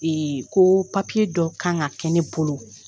koo dɔ kan ka kɛ ne bolo